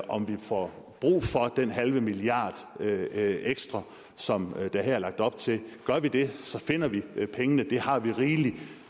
om vi får brug for den halve milliard ekstra som der her er lagt op til gør vi det finder vi pengene det har vi rigelig